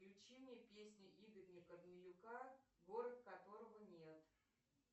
включи мне песню игоря корнилюка город которого нет